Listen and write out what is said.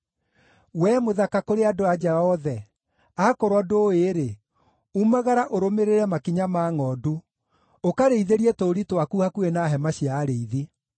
We mũthaka kũrĩ andũ-a-nja othe, akorwo ndũũĩ-rĩ, umagara ũrũmĩrĩre makinya ma ngʼondu, ũkarĩithĩrie tũũri twaku hakuhĩ na hema cia arĩithi.